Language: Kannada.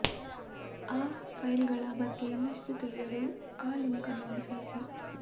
ಆ ಫೈಲ್ಗಳ ಬಗ್ಗೆ ಇನ್ನಷ್ಟು ತಿಳಿಯಲು ಆ ಲಿಂಕ್ ಅನ್ನು ಅನುಸರಿಸಿ